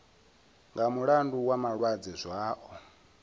nga mulandu wa malwadze zwao